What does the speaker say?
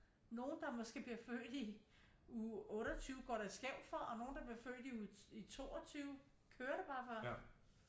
Nogle der måske bliver født i uge 28 går det skævt for og nogle der bliver født i 22 kører det bare for